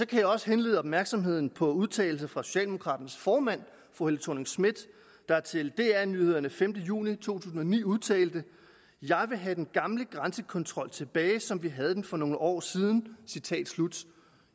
kan jeg også henlede opmærksomheden på udtalelser fra socialdemokraternes formand fru helle thorning schmidt der til dr nyheder den femte juni i to tusind og ni udtalte jeg vil have den gamle grænsekontrol tilbage som vi havde den for nogle år siden